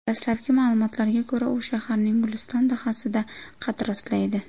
Dastlabki ma’lumotlarga ko‘ra, u shaharning Guliston dahasida qad rostlaydi.